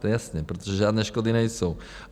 To je jasné, protože žádné škody nejsou.